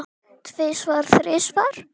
Tvisvar, þrisvar?